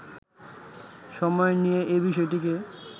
সময় নিয়ে এ বিষয়টিকে